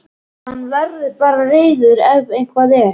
Hann verður bara reiður ef eitthvað er.